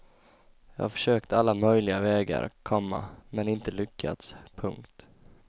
Jag har försökt alla möjliga vägar, komma men inte lyckats. punkt